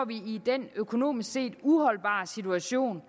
i den økonomisk set uholdbare situation